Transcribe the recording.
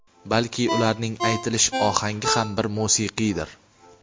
balki ularning aytilish ohangi ham bir musiqiydir.